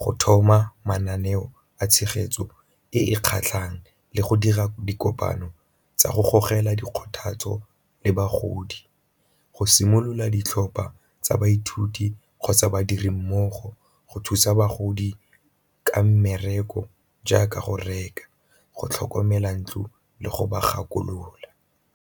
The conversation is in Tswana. go thoma mananeo a tshegetso e e kgatlhang, le go dira dikopano tsa go gogela di kgothatso le bagodi, go simolola ditlhopha tsa baithuti kgotsa badiri mmogo go thusa bagodi ka mmereko jaaka go reka, go tlhokomela ntlo, le go ba gakolola.